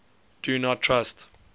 do not trust